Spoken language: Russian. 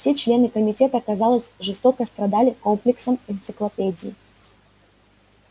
все члены комитета казалось жестоко страдали комплексом энциклопедии